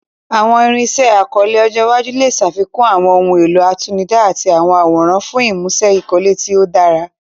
Àwọn irinṣẹ́ ìkọ́lé ọjọ́ iwájú lè ṣàfikún àwọn ohun èlò àtinúdá àti àwọn àwòrán fún ìmúṣe ìkọ́lé tí ó dára.